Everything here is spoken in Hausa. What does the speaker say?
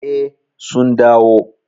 Eh, sun dawo.